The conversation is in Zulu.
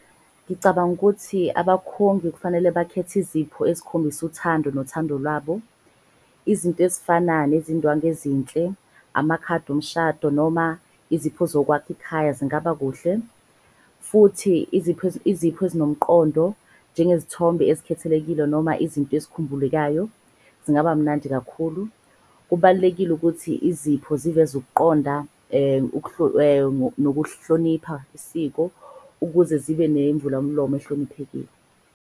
Ngicabanga ukuthi abakhongi kufanele bakhethe izipho ezikhombisa uthando nothando lwabo. Izinto ezifana nezindwangu ezinhle, amakhadi omshado noma izipho zokwakha ikhaya zingaba kuhle. Futhi izipho ezinomqondo njengezithombe ezikhethelekile noma izinto ozikhumbulayo zingaba mnandi kakhulu. Kubalulekile ukuthi izipho ziveze ukuqonda nokuhlonipha isiko, ukuze zibe nemvulamlomo ehloniphekile.